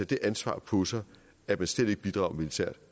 det ansvar på sig at man slet ikke bidrager militært